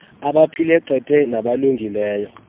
abaphile qete nabalungileyo